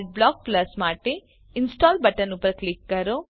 Adblock Plus માટે install button ઉપર click કરો